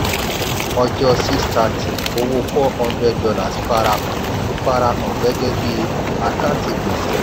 [ọjọ́ six thirty owó four hundred dollars farahàn farahàn gẹ́gẹ́ bí àkántì gbèsè.